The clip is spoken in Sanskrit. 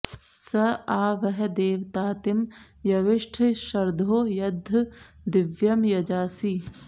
स आ व॑ह दे॒वता॑तिं यविष्ठ॒ शर्धो॒ यद॒द्य दि॒व्यं यजा॑सि